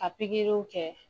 A pikiriw kɛ